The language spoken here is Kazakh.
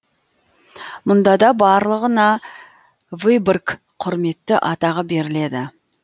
мұнда да барлығына выборг құрметті атағы беріледі